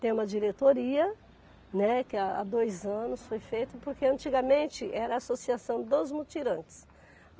Tem uma diretoria, né, que há dois anos foi feita, porque antigamente era a associação dos mutirantes.